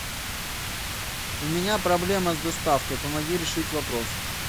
у меня проблема с доставкой помоги решить вопрос